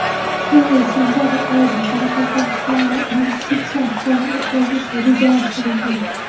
Shu yil sentabr oyida Qoraqalpog‘istonda investitsion forum o‘tkazish rejalashtirilgan.